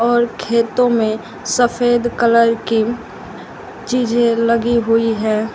और खेतों में सफेद कलर की चीजें लगी हुई हैं।